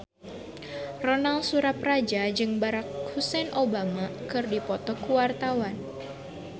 Ronal Surapradja jeung Barack Hussein Obama keur dipoto ku wartawan